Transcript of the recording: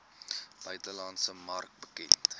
buitelandse mark bekend